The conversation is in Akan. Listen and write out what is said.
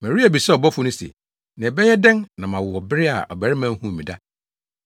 Maria bisaa ɔbɔfo no se, “Na ɛbɛyɛ dɛn na mawo wɔ bere a ɔbarima nhuu me da?”